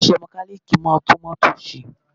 Onise mekaniki máa ń tún mótò se